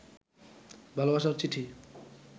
ভালবাসার চিঠি